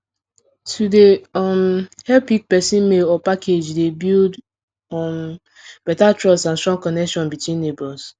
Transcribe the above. to dey um help pick person mail or package dey build um better trust and strong connection between neighbors